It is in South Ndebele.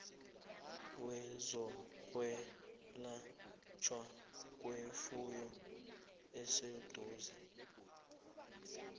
wezokwelatjhwa kwefuyo oseduze